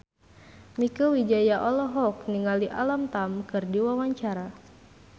Mieke Wijaya olohok ningali Alam Tam keur diwawancara